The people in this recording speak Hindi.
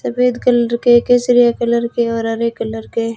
सफेद कलर के केसरिया कलर के और हरे कलर के--